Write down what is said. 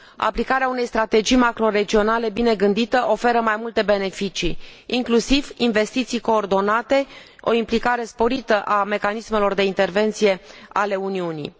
Aplicarea unei strategii macroregionale bine gândite oferă mai multe beneficii, inclusiv investiții coordonate, o implicare sporită a mecanismelor de intervenție ale Uniunii.